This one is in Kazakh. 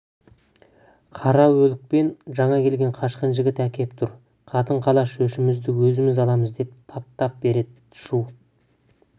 қараүлек пен жаңа келген қашқын жігіт әкеп тұр қатын-қалаш өшімізді өзіміз аламыз деп тап-тап береді шу